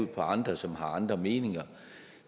på andre som har andre meninger